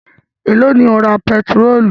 Èló ni o ra pẹtirólù?